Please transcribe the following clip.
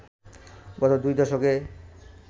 গত দুই দশকে